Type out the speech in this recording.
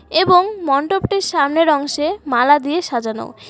এবং মণ্ডপটির সামনের অংশে মালা দিয়ে সাজানো।